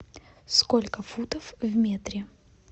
сколько футов в метре